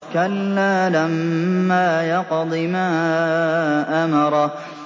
كَلَّا لَمَّا يَقْضِ مَا أَمَرَهُ